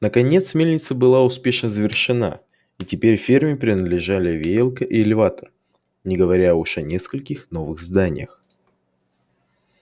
наконец мельница была успешно завершена и теперь ферме принадлежали веялка и элеватор не говоря уж о нескольких новых зданиях